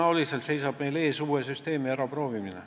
Tõenäoliselt seisab meil ees uue süsteemi äraproovimine.